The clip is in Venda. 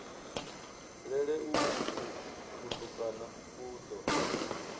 lele uku kutukana ku ḓo